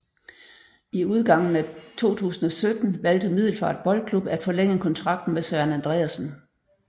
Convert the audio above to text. I udgangen af 2017 valgte Middelfart Boldklub at forlænge kontrakten med Søren Andreasen